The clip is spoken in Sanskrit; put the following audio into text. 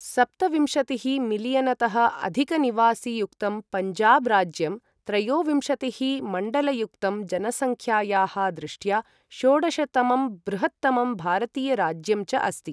सप्तविंशतिः मिलियनतः अधिकनिवासि युक्तं, पञ्जाब् राज्यं त्रयोविंशतिः मण्डलयुक्तं, जनसंख्यायाः दृष्ट्या षोडशतमं बृहत्तमं भारतीयराज्यं च अस्ति।